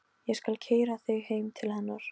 Ég skal keyra þig heim til hennar.